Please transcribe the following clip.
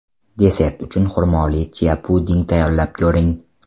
Desert uchun xurmoli chia-puding tayyorlab ko‘ring.